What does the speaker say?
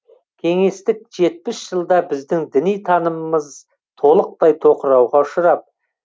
кеңестік жетпіс жылда біздің діни танымымыз толықтай тоқырауға ұшырап